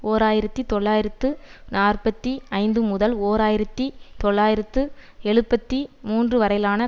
ஓர் ஆயிரத்தி தொள்ளாயிரத்து நாற்பத்தி ஐந்துமுதல் ஓர் ஆயிரத்தி தொள்ளாயிரத்து எழுபத்தி மூன்றுவரையிலான